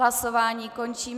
Hlasování končím.